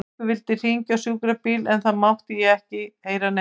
Einhver vildi hringja á sjúkrabíl en það mátti ég ekki heyra nefnt.